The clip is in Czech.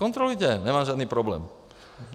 Kontrolujte, nemám žádný problém.